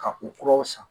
Ka u kuraw san